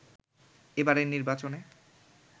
এবারের নির্বাচনে